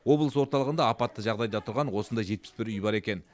облыс орталығында апатты жағдайда тұрған осындай жетпіс бір үй бар екен